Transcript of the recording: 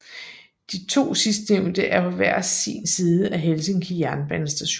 De to sidstnævnte er på hver sin side af Helsinki jernbanestation